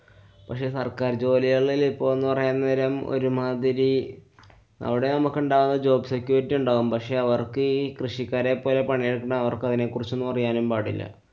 പക്ഷെ സര്‍ക്കാര്‍ ജോലികളില്‍ ഇപ്പൊന്നു പറയാന്‍ നേരം ഒരുമാതിരി അവടാവുമ്പോ ഒക്കെ ഉണ്ടാവുന്ന job security ഉണ്ടാവും. പക്ഷെ അവര്‍ക്കീ കൃഷിക്കാരെപോലെ പണിയെടുക്കുന്ന അവര്‍ക്കതിനെ കുറിച്ചൊന്നും അറിയാനും പാടില്ല.